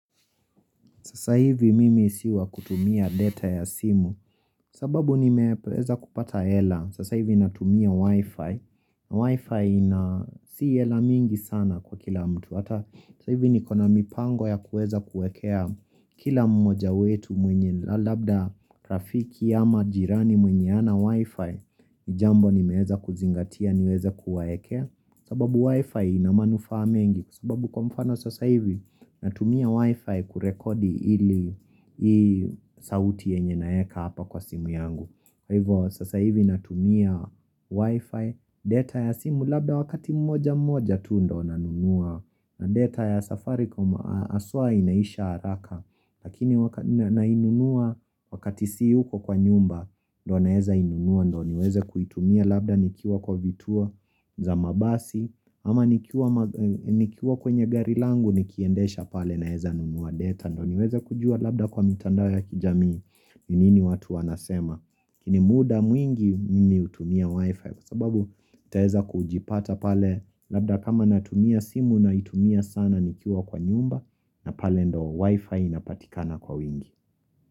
Sasa hivi mimi si wa kutumia data ya simu, sababu nimeweza kupata hela, sasa hivi natumia wifi, na wifi ina si ela mingi sana kwa kila mtu, hata sasa hivi ni kona mipango ya kueza kuekea kila mmoja wetu mwenye labda rafiki ama jirani mwenye hana wifi, jambo nimeweza kuzingatia niweza kuwaekea, sababu wi-fi ina manufaa mengi, sababu kwa mfano sasa hivi natumia wi-fi kurekodi hii sauti yenye naeka hapa kwa simu yangu kwaivo sasa hivi natumia wi-fi, data ya simu labda wakati mmoja mmoja tu ndo nanunua na data ya safaricom haswa inaisha haraka Lakini wakati nainunua wakati siyuko kwa nyumba, ndo naeza inunua ndo niweze kuitumia labda nikiwa kwa vituo za mabasi ama nikiwa kwenye gari langu nikiendesha pale naeza nunua data. Niweze kujua labda kwa mitandao ya kijamii ni nini watu wanasema. Ni muda mwingi mimi hutumia wifi kwa sababu taheza kujipata pale labda kama natumia simu naitumia sana nikiwa kwa nyumba na pale ndo wifi inapatikana kwa wingi.